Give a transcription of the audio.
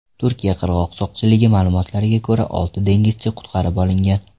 Turkiya qirg‘oq soqchiligi ma’lumotlariga ko‘ra, olti dengizchi qutqarib olingan.